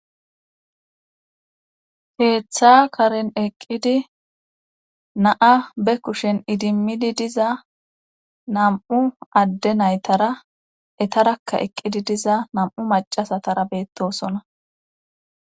Heeththa karen eqqidi na'a be kushen idimmidi diza nam'u adde naytara etarakka eqqidi diza nam'u macasatara beettosona